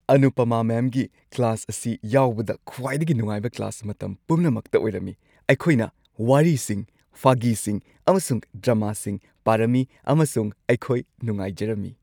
ꯑꯅꯨꯄꯃꯥ ꯃꯦꯝꯒꯤ ꯀ꯭ꯂꯥꯁ ꯑꯁꯤ ꯌꯥꯎꯕꯗ ꯈ꯭ꯋꯥꯏꯗꯒꯤ ꯅꯨꯡꯉꯥꯏꯕ ꯀ꯭ꯂꯥꯁ ꯃꯇꯝ ꯄꯨꯝꯅꯃꯛꯇ ꯑꯣꯏꯔꯝꯃꯤ꯫ ꯑꯩꯈꯣꯏꯅ ꯋꯥꯔꯤꯁꯤꯡ, ꯐꯥꯒꯤꯁꯤꯡ, ꯑꯃꯁꯨꯡ ꯗ꯭ꯔꯃꯥꯁꯤꯡ ꯄꯥꯔꯝꯃꯤ ꯑꯃꯁꯨꯡ ꯑꯩꯈꯣꯏ ꯅꯨꯡꯉꯥꯏꯖꯔꯝꯃꯤ꯫